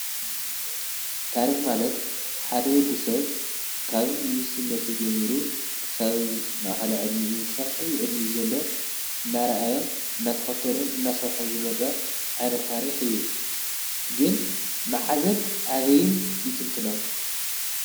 ታሪኽ ማለት ሓደወዲ ሰብ ካብ ንእስነቱ ጀሚሩ ክሳብ ማኸል ዕድሚኡ ኽሳብዐዊ ይዕድሚኡ ዘሎ እናራኣዮን ናተኸተሎን እናሠርሖን ዝመጸ ኣነ ታሪኽ እዩ። ግን መዓዘን ኣበይን ይትንትኖን?